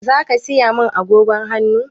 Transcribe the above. Zaka saya min agogon hannu?